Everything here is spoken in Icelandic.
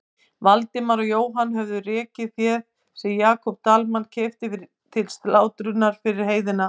Valdimar og Jóhann höfðu rekið féð sem Jakob Dalmann keypti til slátrunar yfir heiðina.